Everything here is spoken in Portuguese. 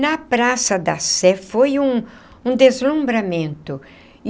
Na Praça da Sé foi um um deslumbramento.